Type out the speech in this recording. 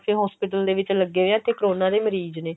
ਵੀ ਹਾਂ ਅਸੀਂ hospital ਦੇ ਵਿੱਚ ਲੱਗੇ ਵੇਆਂ ਉੱਥੇ ਕਰੋਨਾ ਦੇ ਮਰੀਜ ਨੇ